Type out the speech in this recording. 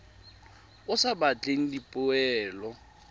o o sa batleng dipoelo